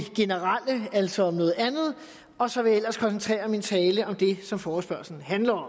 generelle altså om noget andet og så vil jeg ellers koncentrere min tale om det som forespørgslen handler